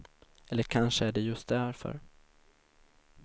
Eller kanske är det just därför.